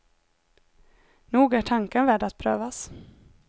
Nog är tanken värd att prövas.